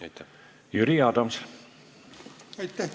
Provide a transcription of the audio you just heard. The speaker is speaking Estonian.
Aitäh!